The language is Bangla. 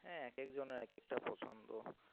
হ্যাঁ এক একেক জনের এক একেকটা পছন্দ.